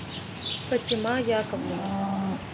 фатима яковлева